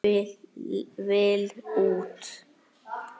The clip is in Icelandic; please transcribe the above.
Vill út.